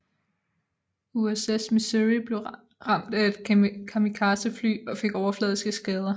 USS Missouri blev ramt af et kamikazefly og fik overfladiske skader